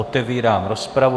Otevírám rozpravu.